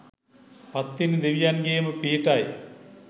පත්තිනි දෙවියන්ගේම පිහිටයි